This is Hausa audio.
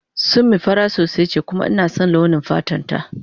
Summi fara sosai ce kuma ina son launi fatan ta.